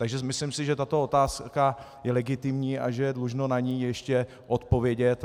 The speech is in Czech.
Takže myslím si, že tato otázka je legitimní a že je dlužno na ni ještě odpovědět.